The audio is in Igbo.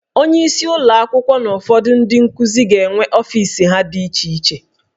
Onyeisi ụlọ akwụkwọ na ụfọdụ ndị nkuzi ga-enwe ọfis ha dị iche iche